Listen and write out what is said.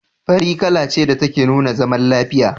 Fari kala ce da take nuna zaman lafiya.